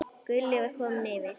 Gulli var kominn yfir.